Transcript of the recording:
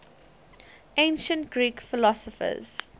ancient greek philosophers